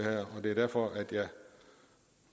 og det er derfor jeg